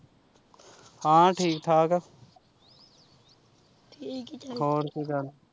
ਹਾਂ ਠੀਕ ਠਾਕ ਆ ਹੋਰ ਕੋਈ ਗੱਲ।